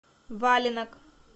валенок